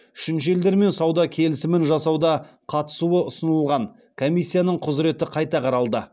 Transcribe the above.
үшінші елдермен сауда келісімін жасауда қатысуы ұсынылған комиссияның құзыреті қайта қаралды